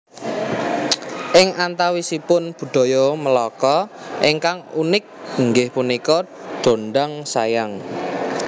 Ing antawisipun budaya Melaka ingkang unik inggih punika dondang sayang